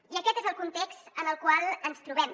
i aquest és el context en el qual ens trobem